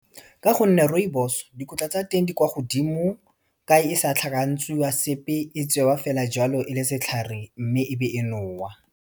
Ka gonne rooibos, dikotla tsa teng di kwa godimo, ka e sa tlhakantsiwa sepe e tsewa fela jalo e le setlhare, mme e be e nowa.